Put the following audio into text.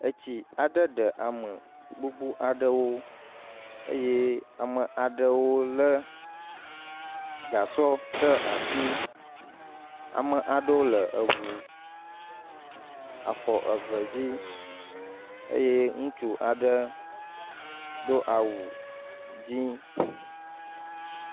Etsi aɖe ɖe ame gbogbo aɖewo eye ame aɖewo lé gasɔ ɖe asi, ame aɖewo le eŋu afɔ eve dzi eye ŋutsu aɖe do awu dzɛ̃